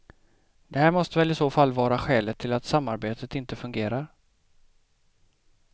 Det här måste väl i så fall vara skälet till att samarbetet inte fungerar.